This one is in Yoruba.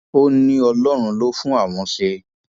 ó ní ọlọrun ló fún àwọn ṣe